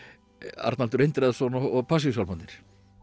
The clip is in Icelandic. Arnaldur Indriðason og Passíusálmarnir